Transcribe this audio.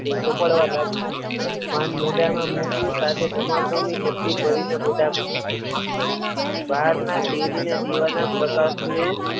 ચોપડવા લાગ્યો, પણ મોંઠા માં મુક્યું સાથે તમાકુ ની ચપટી ભરીને મોંઠા માં મુકી. બહાર ના તેજ ને દીવા ના પ્રકાશ ને